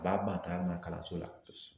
A b'a ban taali ma kalanso la